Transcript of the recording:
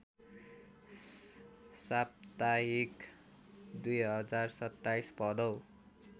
साप्ताहिक २०२७ भदौ